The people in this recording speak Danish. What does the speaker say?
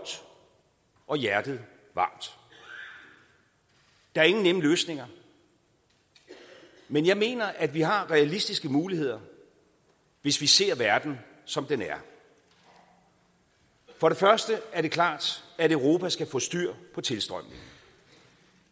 og hjertet varmt der er ingen nemme løsninger men jeg mener at vi har realistiske muligheder hvis vi ser verden som den er for det første er det klart at europa skal få styr på tilstrømningen